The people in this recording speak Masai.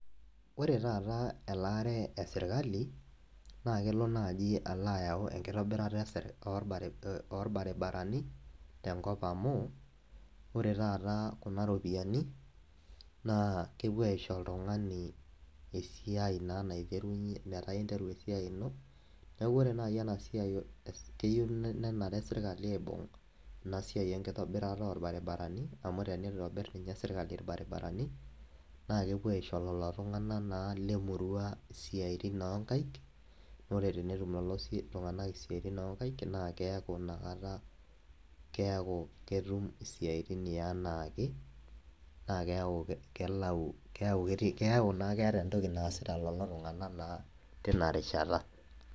Ore taata elaare esirkali naa kelo naji alo ayau enkitobirata esirk, orbar, orbaribarani tenkop amu ore taata kuna ropiyiani naa kepuo aisho oltungani esi, meeta interu esiai ino , niaku ore nai ena siai esr, keyieu nenare enasirkali aibung enasiai enkitobirata orbaribarani amu tenitobir ninye sirkali irbaribarani naa kepuo aisho lelo tunganak naa le murua siatin oonkaik , ore tenetum lelo si lelo tunganak isiatin onkaik naa keaku inakata , keaku ketum isiatin eanaake naa keaku kelau, keyau naa keeta entoki naasita lelo tunganak naa tina rishata .